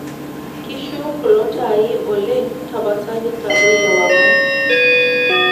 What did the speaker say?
kishu kulo taai oleng' tapasali intadoi ewang'an